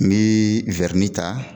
Ni ta.